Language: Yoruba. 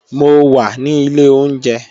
Mo wà ní ilé oúnjẹ